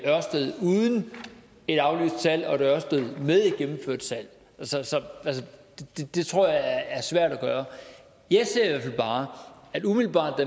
ørsted uden et aflyst salg og et ørsted med et gennemført salg det tror jeg er svært at gøre jeg ser i hvert fald bare at umiddelbart